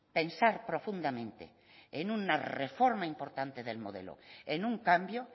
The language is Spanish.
pensar profundamente en una reforma importante del modelo en un cambio